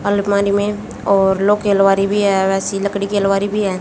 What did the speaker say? अलमारी में और लो की अलमारी भी है वैसी लकड़ी की अलमारी भी है।